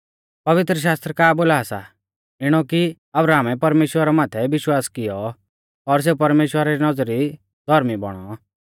पवित्रशास्त्र का बोला सा इणौ कि अब्राहमै परमेश्‍वरा माथै विश्वास किऔ और सेऊ परमेश्‍वरा री नौज़री धौर्मी बौणौ